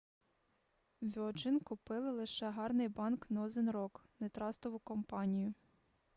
вьоджин купили лише гарний банк нозен рок не трастову компанію